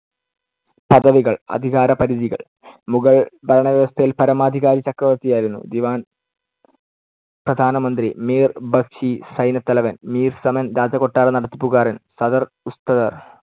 പദവികൾ, അധികാരപരിധികൾ. മുഗൾ ഭരണവ്യവസ്ഥയിൽ പരമാധികാരി ചക്രവർത്തിയായിരുന്നു. ദിവാൻ പ്രധാന മന്ത്രി, മീർ ബക്ഷി സൈന്യത്തലവൻ, മീർ സമൻ രാജകൊട്ടാര നടത്തിപ്പുകാരൻ, സദർ ഉസ്സദർ